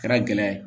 Kɛra gɛlɛya ye